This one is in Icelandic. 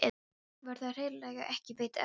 Var þér örugglega ekki veitt eftirför?